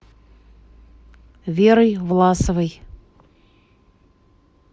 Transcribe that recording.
верой власовой